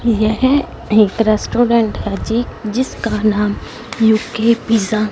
यह एक रेस्टोरेंट है जी जिसका नाम यू_के पिज़्ज़ा --